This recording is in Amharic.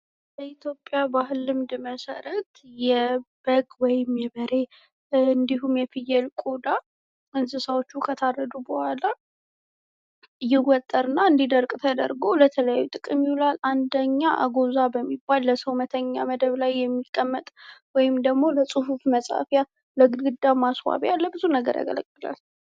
በኢትዮጲያ ባህል ልምድ መሰረት የበግ ወይም የበሬ እንዲሁም የ ፍየል ቆዳ እንሰሳዎቹ ከታረዱ በኋላ ይወጠርና እንዲደርቅ ተደርጎ ለተለያዩ ጥቅም ይውላል፡፡ አንደኛ አጎዛ በሚባል ለሰው መተኛ መደብ ላይ ሚቀመጥ ፣ ለጽሁፍ መጻፊያ ፣ ለግድግዳ ማስዋቢያ ለብዙ ነገር ያገለግላል፡፡